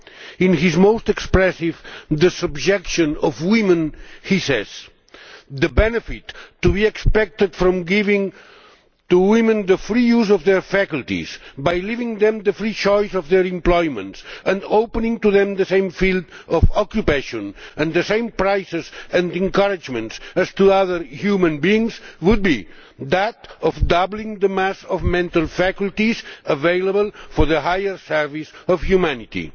In his most expressive The Subjection of Women he says The benefit to be expected from giving to women the free use of their faculties, by leaving them the free choice of their employments, and opening to them the same field of occupation and the same prizes and encouragements as to other human beings, would be that of doubling the mass of mental faculties available for the higher service of humanity'.